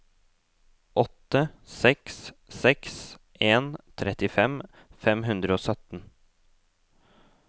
åtte seks seks en trettifem fem hundre og sytten